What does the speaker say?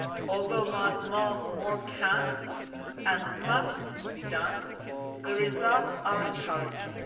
Although more can, and must, be done, the results are encouraging.